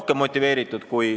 Kolm minutit juurde.